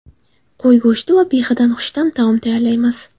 Qo‘y go‘shti va behidan xushta’m taom tayyorlaymiz.